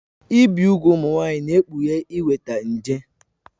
Ibi úgwù ụmụ nwanyị na-ekpughe inweta nje.